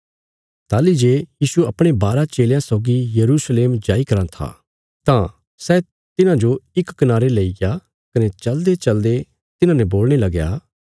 ताहली जे यीशु अपणे बारा चेलयां सौगी यरूशलेम नगरा जो जाई कराँ था तां यीशु तिन्हांजो इक कनारे लेईग्या कने चलदेचलदे तिन्हाने बोलणे लगया